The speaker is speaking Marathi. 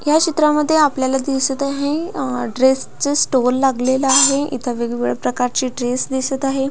ह्या चित्रामध्ये आपल्याला दिसत आहे अ ड्रेस च स्टोर लागलेल आहे इथ वेगवेगळ्या प्रकारचे ड्रेस दिसत आहे.